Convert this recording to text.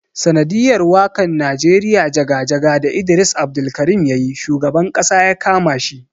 Sanadiyar wakan nijeriya jaga-jaga da Idris Abdulkarim yayi shugaban Ƙasa yakama shi.